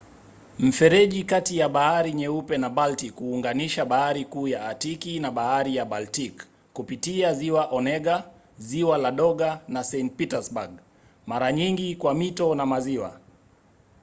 mfereji kati ya bahari nyeupe na baltic huunganisha bahari kuu ya atiki na bahari ya baltic kupitia ziwa onega ziwa ladoga na saint petersburg mara nyingi kwa mito na maziwa